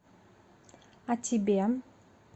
о тебе